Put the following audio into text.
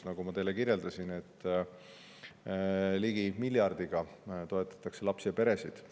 Nagu ma teile kirjeldasin, ligi miljardiga toetatakse lapsi ja peresid.